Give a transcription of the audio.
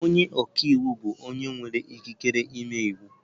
Onye ọka iwu bụ onye nwere ikike ịme iwu.